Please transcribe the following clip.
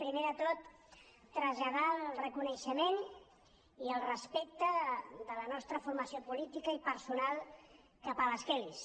primer de tot traslladar el reconeixement i el respecte de la nostra formació política i personal cap a les kellys